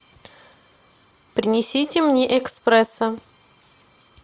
принесите мне эспрессо